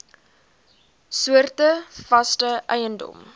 soorte vaste eiendom